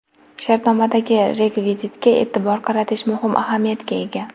Shartnomadagi rekvizitga e’tibor qaratish muhim ahamiyatga ega.